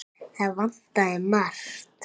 Það vantaði margt.